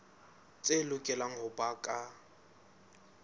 tse lokelang ho ba ka